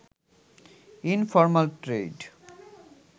informal trade